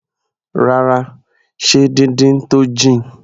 Rárá, ṣe díndín tó jìn.